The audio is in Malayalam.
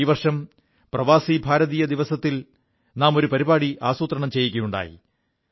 ഈ വർഷം പ്രവാസി ഭാരതീയ ദിവസത്തിൽ നാം ഒരു പരിപാടി ആസൂത്രണം ചെയ്യുകയുണ്ടായി